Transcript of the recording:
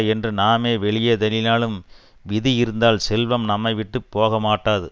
என்று நாமே வெளியே தள்ளினாலும் விதி இருந்தால் செல்வம் நம்மை விட்டு போகமாட்டாது